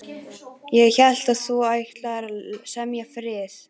Ég hélt þú ætlaðir að semja frið.